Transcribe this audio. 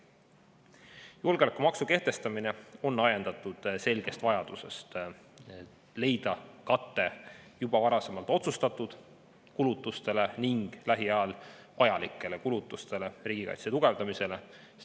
Julgeolekumaksu kehtestamine on ajendatud selgest vajadusest leida kate juba varasemalt otsustatud kulutustele ning lähiajal vajalikele kulutustele riigikaitse tugevdamiseks.